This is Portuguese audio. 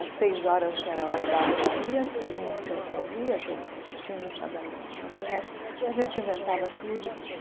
às seis horas, que era a Hora da Ave Maria, que todo mundo tinha que ouvir, aqueles sinos badalando, mas, de resto, a gente inventava tudo.